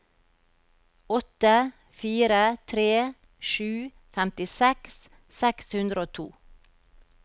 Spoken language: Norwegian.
åtte fire tre sju femtiseks seks hundre og to